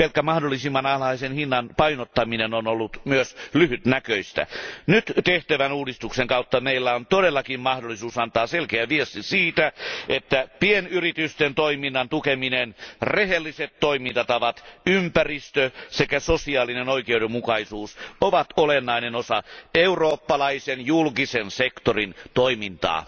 Pelkkä mahdollisimman alhaisen hinnan painottaminen on ollut myös lyhytnäköistä. Nyt tehtävän uudistuksen kautta meillä on todellakin mahdollisuus antaa selkeä viesti siitä, että pienyritysten toiminnan tukeminen, rehelliset toimintatavat, ympäristö sekä sosiaalinen oikeudenmukaisuus ovat olennainen osa eurooppalaisen julkisen sektorin toimintaa.